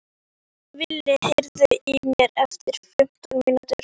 Vili, heyrðu í mér eftir fimmtán mínútur.